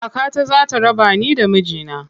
Kakata za ta raba ni da miji na.